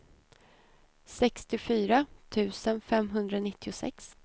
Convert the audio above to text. sextiofyra tusen femhundranittiosex